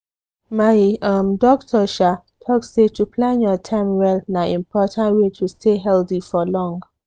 my um doctor um talk say to plan your time well na important way to stay healthy for long.